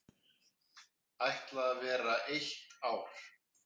Ætla vera eitt ár.